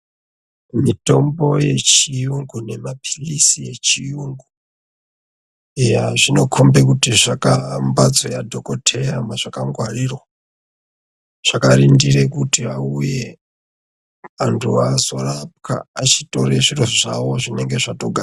Mitombo yechiyungu nemaphirizi echiyungu eya zvinokhombe kuti zviri mumhatso yadhokodheya mwazvakangwarirwa zvakarindire kuti auye antu azorapwa achitotore zviro zvawo zvinenge zvatogadzirwa.